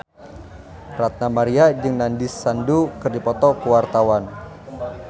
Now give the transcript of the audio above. Ranty Maria jeung Nandish Sandhu keur dipoto ku wartawan